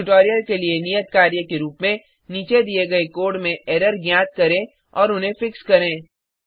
इस ट्यूटोरियल के लिए नियत कार्य के रुप में नीचे दिए गए कोड में एरर ज्ञात करें और उन्हें फिक्स करें